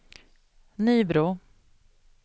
Nybro